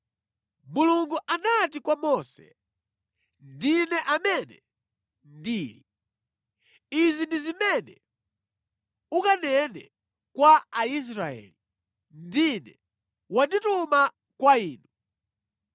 Mulungu anati kwa Mose, “NDINE AMENE NDILI. Izi ndi zimene ukanene kwa Aisraeli: ‘NDINE wandituma kwa inu.’ ”